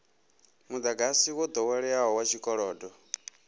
mudagasi wo doweleaho wa tshikolodo